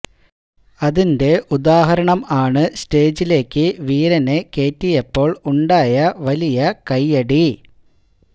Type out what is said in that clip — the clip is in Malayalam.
അതിന്റെ ഉദാഹരണം ആണ് സ്റ്റേജിലേക്ക് വീരനെ കേറ്റിയപ്പോൾ ഉണ്ടായ വലിയ കയ്യടി